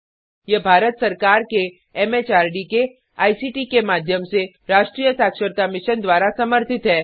यह भारत सरकार के एमएचआरडी के आईसीटी के माध्यम से राष्ट्रीय साक्षरता मिशन द्वारा समर्थित है